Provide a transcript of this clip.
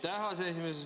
Aitäh, aseesimees!